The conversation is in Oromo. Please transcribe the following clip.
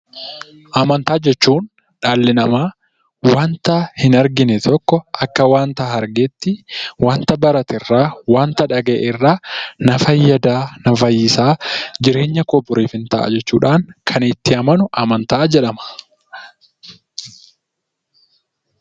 Amanataa jechuun dhali nama waanta hin arginee tokko akka waan argatti, waanta baratee irra, waanta dhagaa'e irra na faayada, na faayisaa, jireenya koo boriif in ta'a jechuudhan kan itti amannu amantaa jedhama.